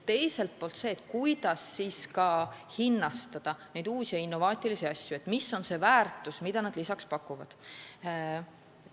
Teiselt poolt on küsimus, kuidas hinnastada neid uusi ja innovaatilisi asju, mis on see väärtus, mida nad lisaks pakuvad.